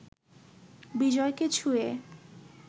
বিজয়কে ছুঁয়ে